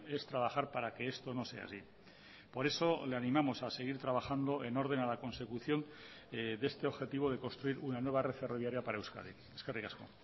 es trabajar para que esto no sea así por eso le animamos a seguir trabajando en orden a la consecución de este objetivo de construir una nueva red ferroviaria para euskadi eskerrik asko